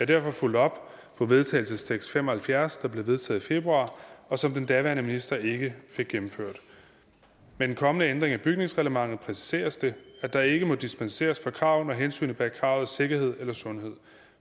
derfor fulgt op på vedtagelsestekst fem og halvfjerds der blev vedtaget i februar og som den daværende minister ikke fik gennemført med den kommende ændring af bygningsreglementet præciseres det at der ikke må dispenseres fra kravene og hensynet bag kravet sikkerhed eller sundhed